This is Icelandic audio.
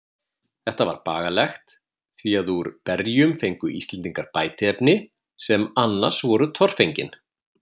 Þetta var bagalegt, því að úr berjum fengu Íslendingar bætiefni, sem annars voru torfengin.